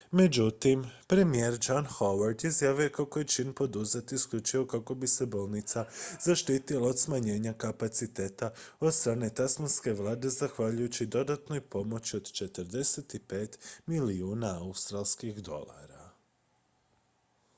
međutim premijer john howard izjavio je kako je čin poduzet isključivo kako bi se bolnica zaštitila od smanjenja kapaciteta od strane tasmanske vlade zahvaljujući dodatnoj pomoći od 45 milijuna australskih dolara